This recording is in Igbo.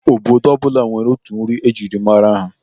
Obodo ọbụla nwere otu nri ejiri mara ya.